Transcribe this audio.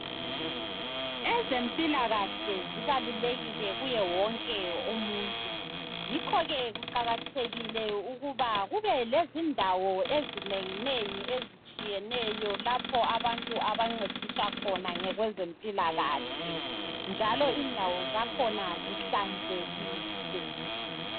Ezempilakahle zibalulekile kuwo wonke umuntu yikho ke kuqakathekile ukuba kube lezindawo ezinenginengi ezitshiyeneyo lapho abantu abancediswa khona ngokwezempilakahle njalo indawo zakhona zihlanzekile.